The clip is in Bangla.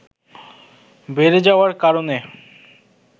বেড়ে যাওয়ার কারণে